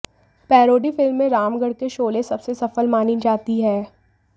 parody film में रामगढ़ के शोले सबसे सफल मानी जाती है